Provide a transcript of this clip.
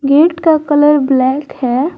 Gate का colour black है।